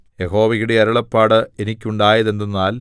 യഹോവയുടെ അരുളപ്പാട് എനിക്കുണ്ടായത് എന്തെന്നാൽ